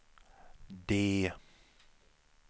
D